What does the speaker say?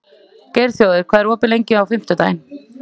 Geirþjófur, hvað er opið lengi á fimmtudaginn?